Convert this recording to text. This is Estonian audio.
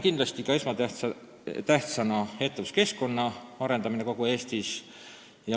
Kindlasti on esmatähtis ettevõtluskeskkonna arendamine kogu Eestis.